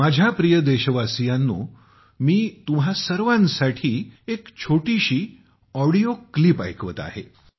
माझ्या प्रिय देशवासियांनो मी तुम्हा सर्वांसाठी एक छोटीशी ऑडिओ क्लिप ऐकवत आहे